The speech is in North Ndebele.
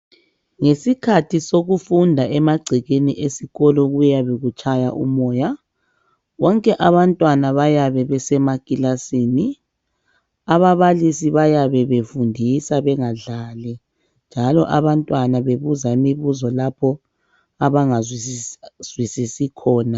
Ngesikhathi sokufunda emagcekeni esikolo kuyabe kutshaya umoya bonke abantwana bayabe besemakilasini ababalisi bayabe befundisa bengadlali njalo abantwana bebuza umbuzo lapha abangazwisisi khona